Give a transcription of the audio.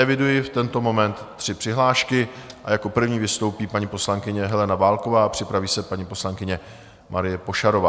Eviduji v tento moment tři přihlášky a jako první vystoupí paní poslankyně Helena Válková a připraví se paní poslankyně Marie Pošarová.